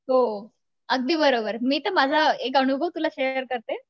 हो अगदी बरोबर